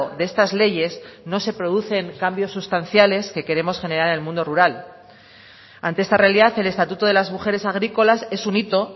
de estas leyes no se producen cambios sustanciales que queremos generar en el mundo rural ante esta realidad el estatuto de las mujeres agrícolas es un hito